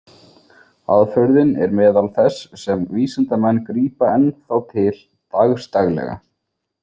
Aðferðin er meðal þess sem vísindamenn grípa enn þá til dagsdaglega.